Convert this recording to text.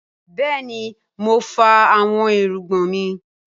Bẹẹni mo fá awọn irugbọn mi.